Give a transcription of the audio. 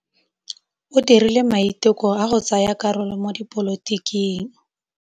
O dirile maitekô a go tsaya karolo mo dipolotiking.